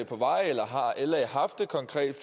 på vej eller har la haft et konkret